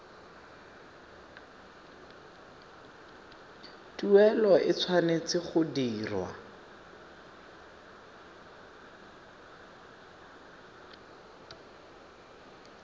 tuelo e tshwanetse go dirwa